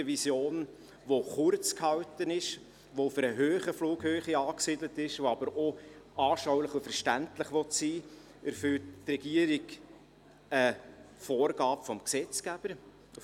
Mit einer solchen Vision, die kurz gehalten und auf einer grossen Flughöhe angesiedelt ist, die aber auch anschaulich und verständlich sein will, erfüllt die Regierung auf der einen Seite eine Vorgabe des Gesetzgebers.